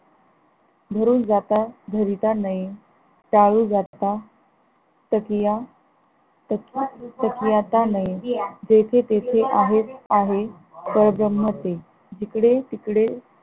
धरून जाता धरीता नये जाता तकिया तकि तकीयता नये जेथे तेथे आहे. परब्रह्म ते जिकडे तिकडे